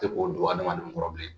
Tɛ k'o don hadamadenw kɔrɔ bilen